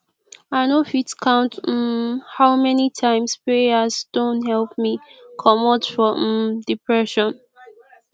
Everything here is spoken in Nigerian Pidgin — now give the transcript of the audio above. i no fit count um how many times prayer don help me comot from um depression